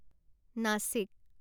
Nashik